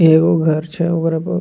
इ एगो घर छै ओकरा ब --